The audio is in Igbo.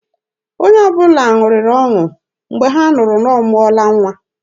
Onye ọbụla ṅụrịrị ọṅụ Mgbe ha nụrụ na ọ mụọla nwa.